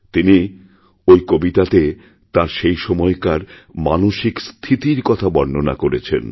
তিনি ওই কবিতাতেতাঁর সেই সময়কার মানসিক স্থিতির কথা বর্ণনা করেছেন